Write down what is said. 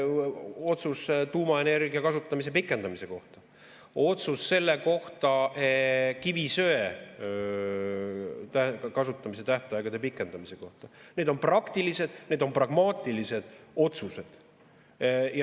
Otsus tuumaenergia kasutamise pikendamise kohta, otsus kivisöe kasutamise tähtaegade pikendamise kohta – need on praktilised, pragmaatilised otsused.